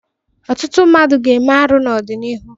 Ọtụtụ mmadụ ga-eme arụ n'ọdịnihu.